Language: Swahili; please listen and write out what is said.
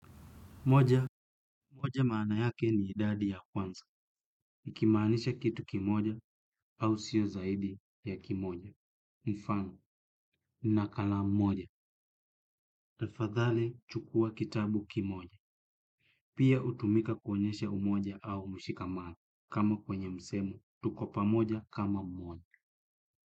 Moja, moja maana yake ni idadi ya kwanza. Nikimaanisha kitu kimoja au sio zaidi ya kimoja. Mfano nina kalamu moja. Tafadhali, chukua kitabu kimoja. Pia hutumika kuonyesha umoja au mshikamano kama kwenye msemo tuko pamoja kama mmoja.